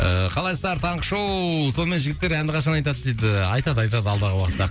ыыы қалайсыздар таңғы шоу сонымен жігіттер әнді қашан айтады дейді айтады айтады алдағы уақытта